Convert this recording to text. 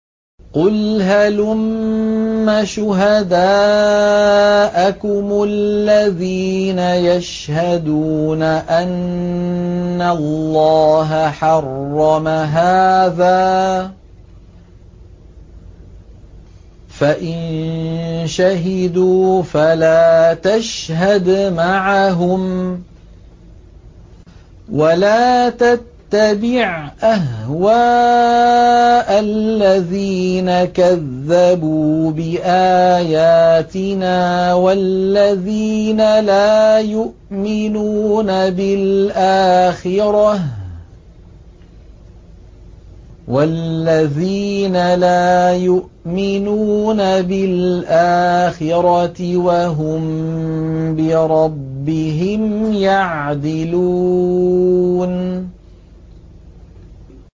قُلْ هَلُمَّ شُهَدَاءَكُمُ الَّذِينَ يَشْهَدُونَ أَنَّ اللَّهَ حَرَّمَ هَٰذَا ۖ فَإِن شَهِدُوا فَلَا تَشْهَدْ مَعَهُمْ ۚ وَلَا تَتَّبِعْ أَهْوَاءَ الَّذِينَ كَذَّبُوا بِآيَاتِنَا وَالَّذِينَ لَا يُؤْمِنُونَ بِالْآخِرَةِ وَهُم بِرَبِّهِمْ يَعْدِلُونَ